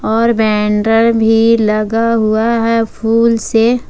और बैनर भी लगा हुआ है फूल से।